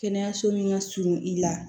Kɛnɛyaso min ka surun i la